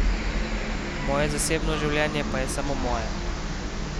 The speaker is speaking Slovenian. Moje zasebno življenje pa je samo moje.